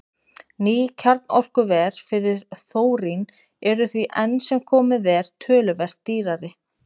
Ný kjarnorkuver fyrir þórín eru því enn sem komið er töluvert dýrari.